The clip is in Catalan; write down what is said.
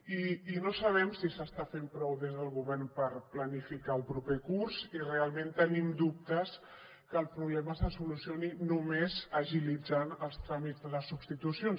i no sabem si s’està fent prou des del govern per planificar el proper curs i realment tenim dubtes que el problema se solucioni només agilitzant els tràmits de les substitucions